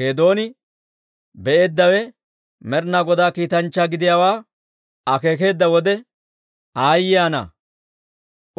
Geedooni be'eeddawe Med'inaa Godaa kiitanchchaa gidiyaawaa akeekeedda wode, «Aayye ana!